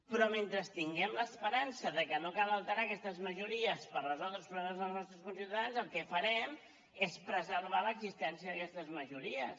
però mentre tinguem l’esperança que no cal alterar aquestes majories per resoldre els problemes dels nostres conciutadans el que farem és preservar l’existència d’aquestes majories